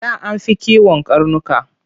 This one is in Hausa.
Da an fi kiwon karnuka.